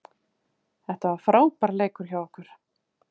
Þetta var frábær leikur hjá okkur